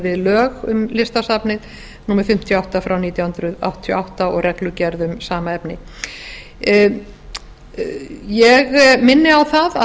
við lög um listasafnið númer fimmtíu og átta nítján hundruð áttatíu og átta og reglugerð um sama efni ég minni á það að